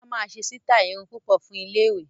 Busola máa ṣe sítáì irun púpọ̀ fún iléèwé